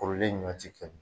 Kɔrɔlen ɲɔn ti kɛɲɛ